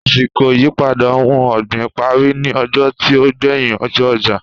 Àsìkò ìyípadà ohun ọ̀gbìn parí ní ọjọ́ tí ó gbéyìn ọjọ́ ọjà